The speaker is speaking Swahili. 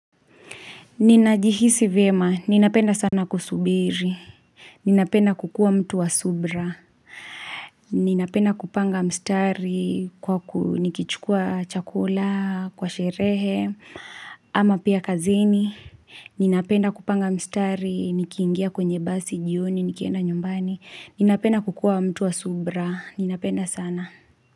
Ninajihisi vyema, ninapenda sana kusubiri. Ninapenda kukuwa mtu wa subra. Ninapenda kupanga mstari, nikichukua chakula, kwa sherehe, ama pia kazini. Ninapenda kupanga mstari, nikiingia kwenye basi, jioni, nikienda nyumbani. Ninapenda kukuwa mtu wa subra. Ninapenda sana.